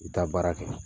I bɛ taa baara kɛ